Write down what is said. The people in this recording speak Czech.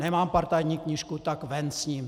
Nemám partajní knížku, tak ven s ním.